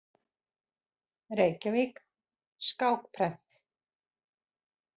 Reykjavík: Skákprent.